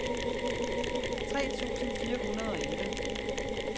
tre tusind fire hundrede og elleve